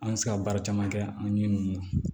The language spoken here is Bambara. An bɛ se ka baara caman kɛ an ɲɛ mɔn